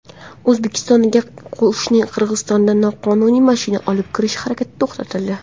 O‘zbekistonga qo‘shni Qirg‘izistondan noqonuniy mashina olib kirish harakati to‘xtatildi.